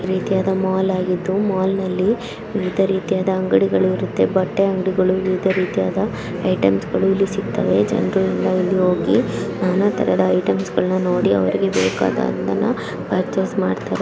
ಜನರು_ಮಾತನಾಡುವುದು ರೀತಿಯಾದ ಮಾಲ್ ಆಗಿದ್ದು ಮಾಲ್ ನಲ್ಲಿ ವಿವಿಧ ರೀತಿಯಾದ ಅಂಗಡಿಗಳು ಇರುತ್ತೆ. ಬಟ್ಟೆ ಅಂಗಡಿಗಳು ವಿವಿಧ ರೀತಿಯಾದ ಐಟಮ್ಸ್ ಗಳು ಇಲ್ಲಿ ಸಿಕ್ತವೇ. ಜನ್ರು ಎಲ್ಲ ಇಲ್ಲಿ ಹೋಗಿ ನಾನಾ ತರದ ಐಟಮ್ಸ್ ಗಳ್ನ ನೋಡಿ ಅವ್ರಿಗೆ ಬೇಕಾದದ್ದನ್ನ ಪರ್ಚೇಸ್ ಮಾಡ್ತಾರೆ ಜನರು_ಮಾತನಾಡುವುದು .